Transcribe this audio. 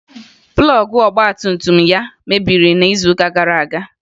Plọọgụ ọgbatumtum ya mebiri n'izuụka gara aga